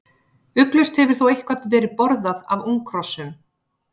Ugglaust hefur þó eitthvað verið borðað af unghrossum.